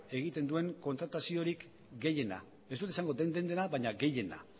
egiten duen kontrataziorik gehiena ez dut esango den dena baina gehiena